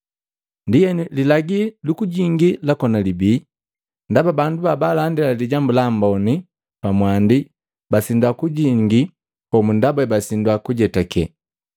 Ndienu lilagi lukujingi lakoni libii, ndaba bandu babaalandila Lijambu Lamboni pamwandi basindwa kujingi homu ndaba basindwa kujetake.